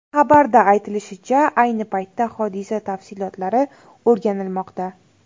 Xabarda aytilishicha, ayni paytda hodisa tafsilotlari o‘rganilmoqda.